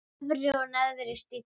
Efri og neðri stífla.